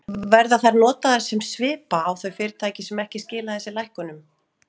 Verða þær notaðar sem svipa á þau fyrirtæki sem ekki skila þessum lækkunum?